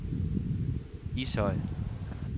Ishøj